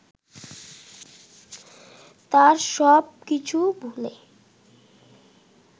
তার সব কিছু ভুলে